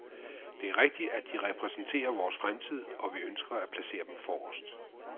Det er rigtigt, at de repræsenterer vores fremtid, og vi ønsker at placere dem forrest.